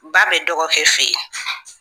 Ba bɛ dɔgɔkɛ fe yen